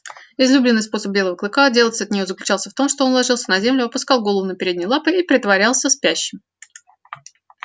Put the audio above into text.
излюбленный способ белого клыка отделаться от нее заключался в том что он ложился на землю опускал голову на передние лапы и притворялся спящим